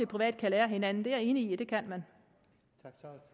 private kan lære af hinanden er jeg enig i det kan de